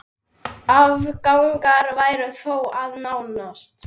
Áfangar væru þó að nást.